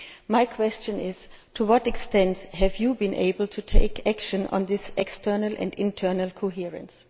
My question is to what extent have you been able to take action on this external and internal coherence?